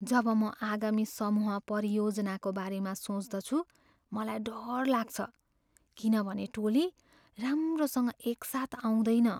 जब म आगामी समूह परियोजनाको बारेमा सोच्दछु मलाई डर लाग्छ किनभने टोली राम्रोसँग एकसाथ आउँदैन।